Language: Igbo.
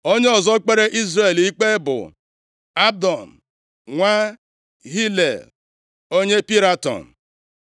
Onye ọzọ kpere Izrel ikpe bụ Abdon nwa Hilel, onye Piraton.